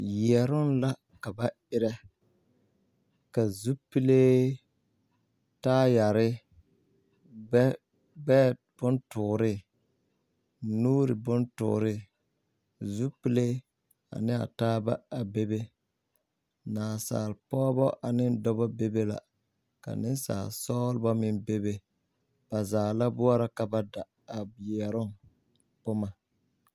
Yɛroŋ la ka ba erɛ ka zupilee taayɛre gbɛɛbontɔɔree nuuribontɔɔree x UK pile ane a taaba a bebe naasalpɔgeba ane dɔba bebe la ka nensaalesɔgla meŋ bebe ba zaa la boɔrɔ ka ba da a yɛroŋ boma.